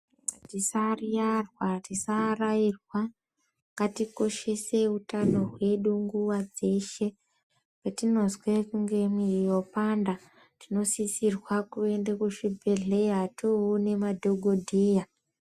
Tisayirarwa tisaarairwa ngatikoshese utano hwedu nguva dzeshe. Petinozwe kunge mwiri yapanda tinosisirwa kuende kuzvibhedhleya toone madhogodheya.